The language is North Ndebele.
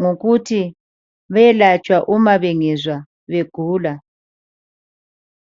ngokuthi beyelatshwa uma bengezwa begula.